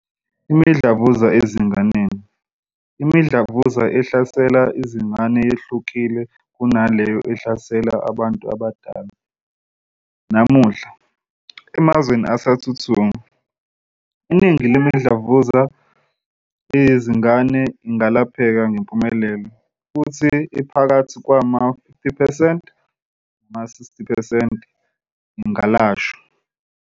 Imidlavuza ezinganeni. Imidlavuza ehlasela izingane yehlukile kunaleyo ehlasela abantu abadala. Namuhla, emazweni asathuthuka, iningi lemidlavuza yezingane ingalapheka ngempumelelo, futhi ephakathi kwama-50 percent nama-60 percent ingalashwa.